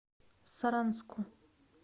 саранску